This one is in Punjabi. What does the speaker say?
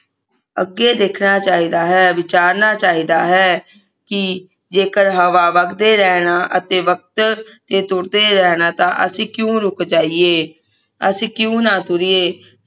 ਅੱਗੇ ਦੇਖਣਾ ਚਾਹੀਦਾ ਹੈ ਵਿਚਾਰਨਾ ਚਾਹੀਦਾ ਹੈ ਕਿ ਜੇਕਰ ਹਵਾ ਵਗਦੇ ਰਹਿਣਾ ਅਤੇ ਵਕਤ ਨੇ ਤੁਰਦੇ ਰਹਿਣਾ ਤਾਂ ਅਸੀਂ ਕਿਉਂ ਰੁਕ ਜਾਈਏ ਅਸੀਂ ਕਿਓਂ ਨਾ ਤੁਰੀਏ